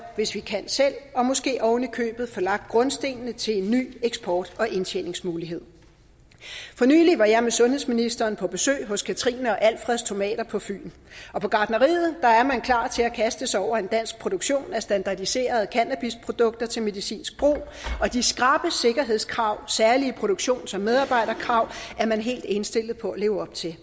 hvis vi kan selv og måske oven i købet kan få lagt grundstenene til en ny eksport og indtjeningsmulighed for nylig var jeg med sundhedsministeren på besøg hos katrine og alfreds tomater på fyn på gartneriet er man klar til at kaste sig over en dansk produktion af standardiserede cannabisprodukter til medicinsk brug og de skrappe sikkerhedskrav særlige produktions og medarbejderkrav er man helt indstillet på at leve op til